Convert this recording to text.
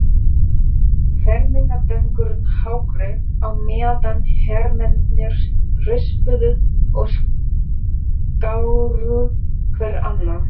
Fermingardrengurinn hágrét á meðan hermennirnir rispuðu og skáru hver annan.